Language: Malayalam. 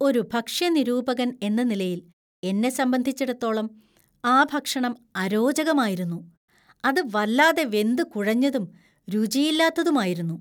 ഒരു ഭക്ഷ്യ നിരൂപകൻ എന്ന നിലയിൽ എന്നെ സംബന്ധിച്ചിടത്തോളം ആ ഭക്ഷണം അരോചകമായിരുന്നു. അത് വല്ലാതെ വെന്തുകുഴഞ്ഞതും, രുചിയില്ലാത്തതുമായിരുന്നു.